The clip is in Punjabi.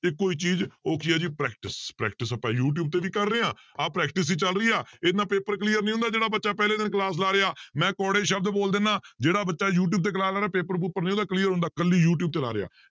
ਤੇ ਕੋਈ ਚੀਜ਼ ਉਹ ਕੀ ਹੈ ਜੀ practice practice ਆਪਾਂ ਯੂ ਟਿਊਬ ਤੇ ਵੀ ਕਰ ਰਹੇ ਹਾਂ ਆਹ practice ਹੀ ਚੱਲ ਰਹੀ ਆ ਇਹਦੇ ਨਾਲ paper clear ਨੀ ਹੁੰਦਾ ਜਿਹੜਾ ਬੱਚਾ ਪਹਿਲੇ ਦਿਨ class ਲਗਾ ਰਿਹਾ, ਮੈਂ ਕੌੜੇ ਸ਼ਬਦ ਬੋਲ ਦਿਨਾ ਜਿਹੜਾ ਬੱਚਾ ਯੂਟਿਊਬ ਤੇ class ਲਾਉਣਾ ਪੇਪਰ ਪੂਪਰ ਨੀ ਉਹਦਾ clear ਹੁੰਦਾ ਇਕੱਲੀ ਯੂਟਿਊਬ ਚਲਾ ਰਿਹਾ